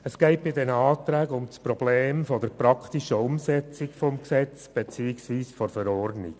Bei diesen Anträgen geht es um das Problem der praktischen Umsetzung des Gesetzes beziehungsweise der Verordnung.